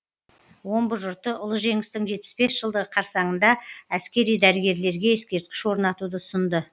омбы жұрты ұлы жеңістің жетпіс бес жылдығы қарсаңында әскери дәрігерлерге ескерткіш орнатуды ұсынды